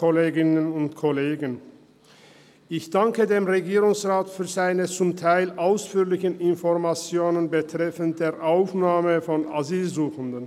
Ich danke dem Regierungsrat für seine zum Teil ausführlichen Informationen betreffend die Aufnahme von Asylsuchenden.